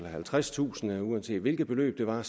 halvtredstusind kroner uanset hvilket beløb det var